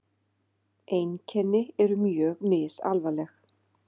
Einkenni eru mjög misalvarleg.